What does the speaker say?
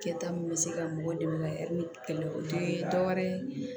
Kɛta min bɛ se ka mɔgɔw dɛmɛ ni kɛlɛ o tɛ dɔwɛrɛ ye